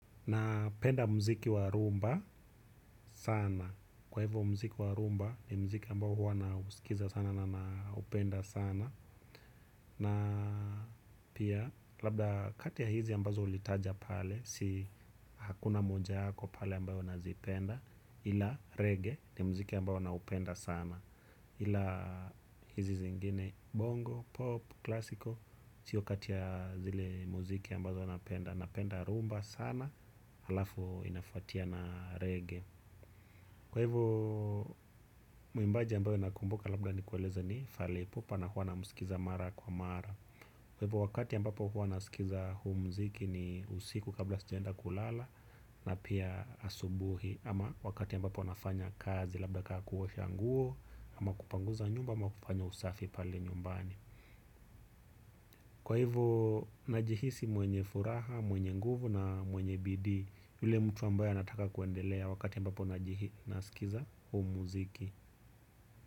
Na penda mziki warumba sana. Kwa hivyo mziki warumba ni mziki ambao wana usikiza sana na upenda sana. Na pia labda kati ya hizi ambazo ulitaja pale si hakuna moja yako pale ambavo na zipenda ila reggae ni mziki ambao wana upenda sana. Hila hizi zingine bongo, pop, klasiko siyo kati ya zile muziki ambazo napenda. Napenda rumba sana. Alafu inafuatia na reggae. Kwa hivo muimbaji ambayo nakumbuka labda ni kueleze ni falipupa. Na huwa na musikiza mara kwa mara. Kwa hivo wakati ambapo huwa na sikiza huu muziki. Ni usiku kabla sijaenda kulala. Na pia asubuhi ama wakati ambapo nafanya kazi labda kaa kuosha nguo ama kupanguza nyumba ama kufanya usafi pale nyumbani. Kwa hivyo najihisi mwenye furaha, mwenye nguvu na mwenye bidii. Yule mtu ambaye anataka kuendelea wakati ambapo najihina sikiza huu muziki.